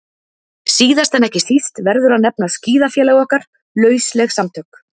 Síðast en ekki síst verður að nefna skíðafélag okkar, lausleg samtök